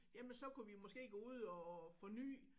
Jamen så kunne vi måske gå ud og få ny